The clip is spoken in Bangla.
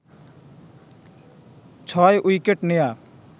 ৬ উইকেট নেয়া